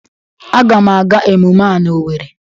Agam aga emume a na Owerri